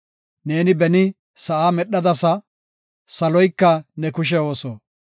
Neeni beni sa7aa medhadasa; saloyka ne kushe ooso.